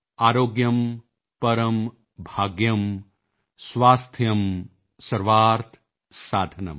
ਆਰੋਗਯਮ ਪਰੰ ਭਾਗਯਮ ਸਵਾਸਥਯੰ ਸਰਵਾਰਥ ਸਾਧਨੰ